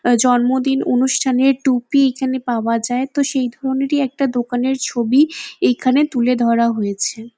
জন্মদিন অনুষ্ঠানের টুপি এখানে পাওয়া যায় তো সেই ধরণেরই একটা দোকানের ছবি এইখানে তুলে ধরা হয়েছে ।